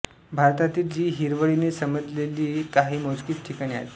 भारतातील जी हिरवळीने सजलेली काही मोजकीच ठिकाणे आहेत